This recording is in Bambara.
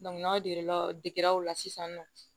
n'a jiginna digira o la sisan nɔ